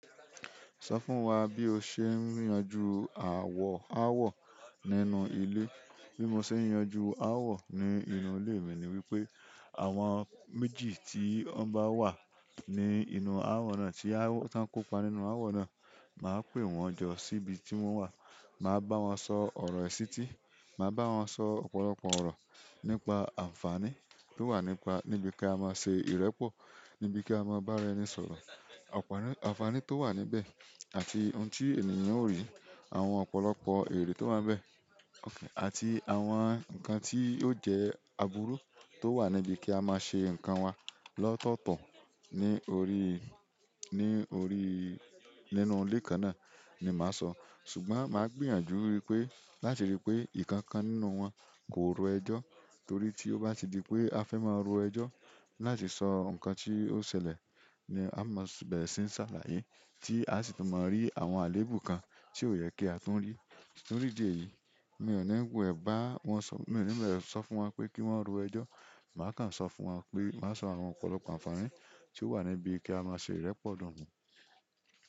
Sọ fún wa bí o ṣe ń yanju àwọ̀ àwọ̀ nínú ilé. Bí mo ṣe ń yanjú àwọ̀ ní inú ìle mi ni wípé àwọn méjì tí ọ bá wà ní inú àwọ̀ náà tí wọn kópa nínú àwọ̀ náà, màá pè wọ́n jọ síbi tí wọ́n wà. Ma ba won so oro isiti, ma ba won so ọ̀pọ̀lọpọ̀ oro nípa anfani to wa nípa nibi ka ma se ìrẹ́pọ̀, nibi ka ma ba ara ẹni sọ̀rọ̀ ànfàní tó wà níbẹ̀ àti ohun tí ènìyàn ó rí, àwọn ọ̀pọ̀lọpọ̀ ẹ̀re tó wà nbẹ̀ àti àwọn ǹkan tí ó jẹ́ àbúrú tó wà níbi kí a máa ṣe ǹkan wa lọ́tọ̀ọ̀tọ̀ ní orí, ní orí nínú ilé kan náà ni màá sọ. Ṣùgbọ́n màá gbìyànjú wípé láti rí pé nkán kan nínú wọn kò ro ẹjọ́ torí tí ó bá ti di pé a fẹ́ máa ro ẹjọ́ láti sọ ǹkan tí ó ṣẹlẹ̀ ni a máa ṣe ń ṣàlàyé tí a sì tó máa rí àwọn àléébù kan tí ó yẹ kí a tun rí. Nítorí ìdí èyí, mi ò ní wule bá wọn sọ̀rọ̀, mi ò ní wule sọ fún wọn pé kí wọ́n ro ẹjọ́. Màá kan sọ fún wọn pé, màá sọ àwọn ọ̀pọ̀lọpọ̀ ànfàní tí ó wà níbi kí a máa ṣe ìrẹ́pọ̀ dogbo.